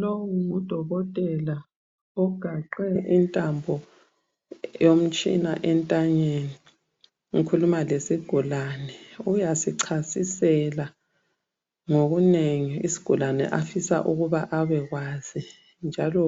Lowu ngudokotela, ogaxe intambo yomtshina entanyeni, ukhuluma lesigulane. Uyasichasisela ngokunengi isigulane afisa ukuba abekwazi, njalo